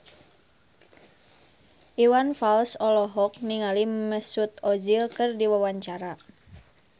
Iwan Fals olohok ningali Mesut Ozil keur diwawancara